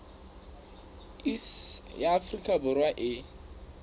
iss ya afrika borwa e